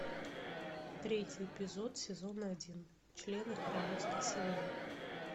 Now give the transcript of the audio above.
третий эпизод сезона один члены королевской семьи